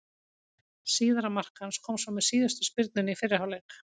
Síðara mark hans kom svo með síðustu spyrnunni í fyrri hálfleik.